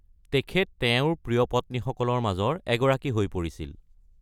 তেখেত তেওঁৰ প্ৰিয় পত্নীসকলৰ মাজৰ এগৰাকী হৈ পৰিছিল।